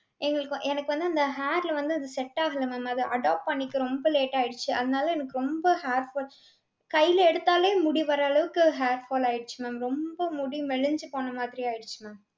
எங்களுக்கு வ~ எனக்கு வந்து அந்த hair ல வந்து அது set ஆகல mam. அது adopt பண்ணிக்க ரொம்ப late ஆயிடுச்சு. அதுனால எனக்கு ரொம்ப hair fall கைல எடுத்தாலே முடி வர்ற அளவுக்கு hair fall ஆயிடுச்சு mam ரொம்ப முடி மெலிஞ்சு போன மாதிரி ஆயிடுச்சு mam.